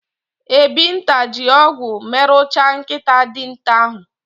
Ebinta ji ogwu meruchaa nkịta dinta ahụ.